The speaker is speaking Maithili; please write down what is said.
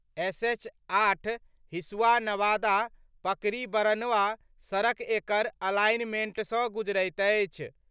एसएच-8 हिसुआ-नवादा- पकरीबरनवा सड़क एकर अलाइनमेंटसँ गुजरैत अछि।